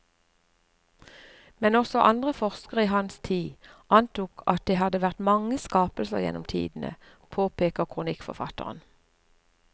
Men også andre forskere i hans tid antok at det hadde vært mange skapelser gjennom tidene, påpeker kronikkforfatteren.